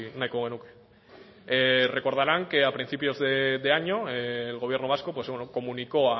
nahiko genuke recordarán que a principios de año el gobierno vasco comunicó